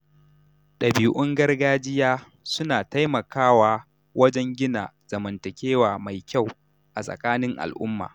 Ɗabi’un gargajiya suna taimakawa wajen gina zamantakewa mai kyau a tsakanin al'umma.